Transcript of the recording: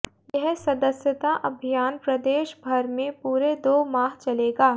यह सदस्यता अभियान प्रदेशभर में पूरे दो माह चलेगा